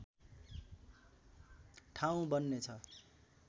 ठाउँ बन्नेछ